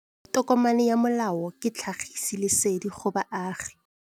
Tokomane ya molao ke tlhagisi lesedi go baagi.